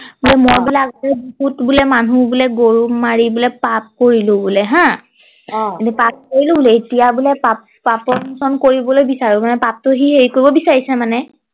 মই বোলে মানুহ বোলে গৰু মাৰি বোলে পাপ কৰিলো বোলে হা অ পাপ কৰিলো বোলে এতিয়া বোলে পাপ পাপ মোচন কৰিবলৈ বিচাৰে মানে পাপটো সি হেৰি কৰিব বিচাৰিছে মানে